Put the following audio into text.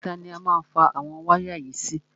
Ìta ni a má fa àwọn wáyà yìí sí.